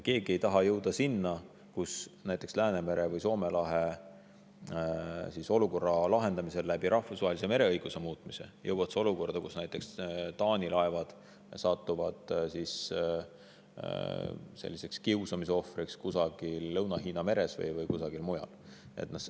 Keegi ei taha jõuda näiteks Läänemere või Soome lahe olukorra lahendamisel rahvusvahelise mereõiguse muutmisega olukorda, kus näiteks Taani laevad satuvad kiusamise ohvriks Lõuna-Hiina meres või kusagil mujal.